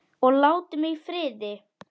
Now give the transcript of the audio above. Og láti mig í friði.